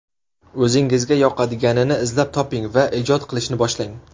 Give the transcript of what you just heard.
O‘zingizga yoqadiganini izlab toping va ijod qilishni boshlang.